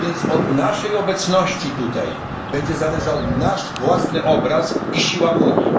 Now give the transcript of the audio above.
Od naszej obecności tutaj będzie zależał nasz własny obraz i siła unii.